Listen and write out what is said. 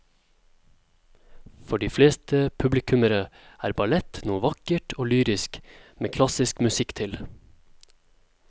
For de fleste publikummere er ballett noe vakkert og lyrisk med klassisk musikk til.